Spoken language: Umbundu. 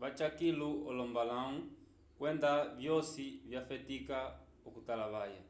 vaca kilu olombalãwu kwenda vyosi vyafetika okutalavaya